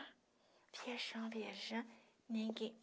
Ah, viajando, viajando, ninguém.